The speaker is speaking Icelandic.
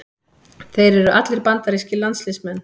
Þeir eru allir bandarískir landsliðsmenn